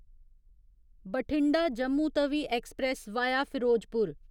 Bathinda Jammu Tawi express via Firozpur